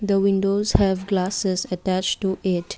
the windows have glasses attached to it.